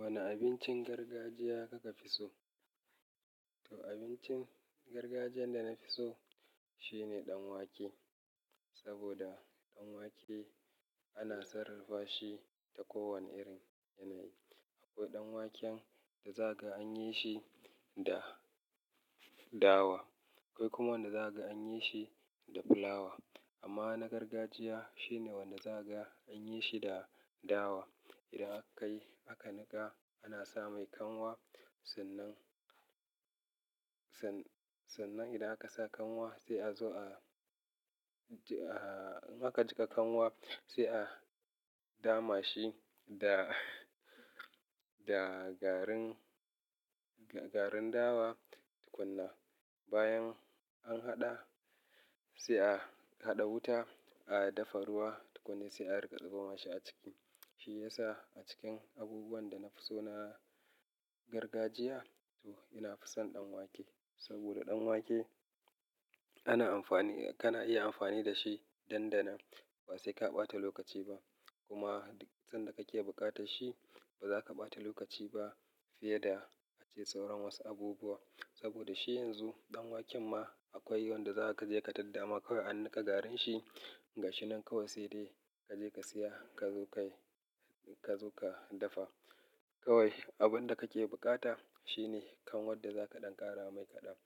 Wane abincin gargajiya kuka fi so? To abincin gargajiyan da na fi so shine dan wake. Saboda dan wake ana sarrafa shi ta kowane irin yanayi. Akwai dan waken da zaga an yi shi da dawa. Akwai kuma wanda za ka an yi shi da fulawa. Amma na gargajiya shine wanda za ga an yi shi da dawa. Idan akai, aka niƙa, ana sa mai kanwa. Sannan, sa-- sannan idan aka sa kanwa sai a zo a, a-- idan ka jiƙa kanwa sai a dama shi da, da garin, garin dawa tukunna. Bayan an haɗa sai a haɗa wuta, a dafa ruwa tukunna sai a rika zuba masa a ciki. Shi ya sa a cikin abubuwan da na fi so na gargajiya to na fison dan wake. Saboda dan wake ana amfani, kana iya amfani da shi dandanan ba sai ka ɓata lokaci ba. Kuma sanda kake buƙatar shi ba za ka ɓata lokaci ba fiye da a ce sauran wasu abubuwa. Saboda shi yanzu dan waken ma akwai yawan da za ka je ka tadda ma kawai an niƙa garin shi gashi nan kawai sai dai ka je ka siya ka zo ka yi, ka zo ka dafa. Kawai abin da kake buƙata shine kanwar da zaka ɗan ƙara mai kaɗan.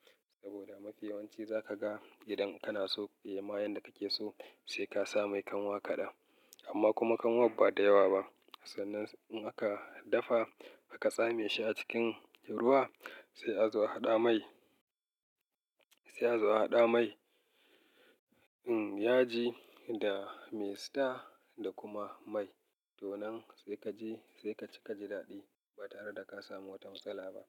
Saboda mafi yawanci za ka ga idan kana so ya ma yanda kake so sai ka sa mai kanwa kaɗa. Amma kuma kanwar ba da yawa ba. Sannan in aka dafa aka tsame shi a cikin ruwa sai a zo a haɗa mai, sai a zo a haɗa mai, um, yaji da maystar da kuma mai. To nan sai kaje sai ka ci kaji daɗi ba tare da ka samu wata matsala ba.